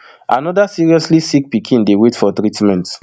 anoda seriously sick pikin dey wait for treatment